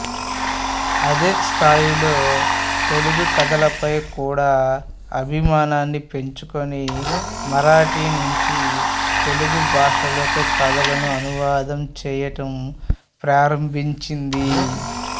అదే స్థాయిలో తెలుగు కథలపై కూడా అభిమానాన్ని పెంచుకొని మరాఠీ నుంచి తెలుగు భాషలోకి కథలను అనువాదం చేయటం ప్రారంభించింది